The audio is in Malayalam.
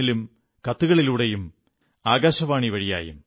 ഇൻ ലും കത്തുകളിലൂടെയും ആകാശവാണി വഴിയായും